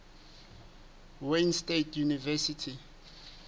wayne state university